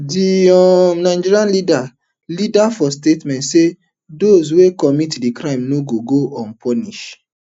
di um nigerian leader leader for statement say dose wey commit di crime no gogo unpunished